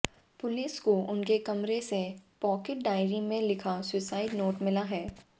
police को उनके कमरे से पॉकेट डायरी में लिखा सुसाइड नोट मिला है